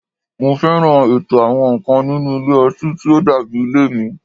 Mo fẹ́ràn ètò àwọn nǹkan nínú ilé ọtí tí ó dàbí ilé mi